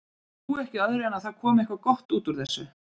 Ég trúi ekki öðru en að það komi eitthvað gott út úr þessu.